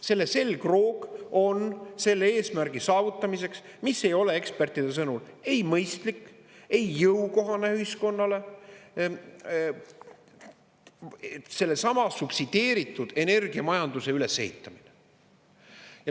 Selle selgroog on selle eesmärgi saavutamiseks, mis ei ole ekspertide sõnul ei mõistlik, ei jõukohane ühiskonnale, sellesama subsideeritud energiamajanduse ülesehitamine.